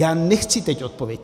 Já nechci teď odpověď.